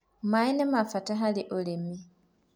maĩ nĩmabata harĩ ũrĩmi